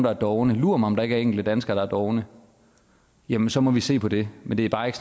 er dovne lur mig om ikke der er enkelte danskere der er dovne jamen så må vi se på det men det er bare ikke